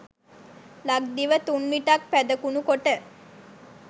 ලක්දිව තුන්විටක් පැදකුණු කොට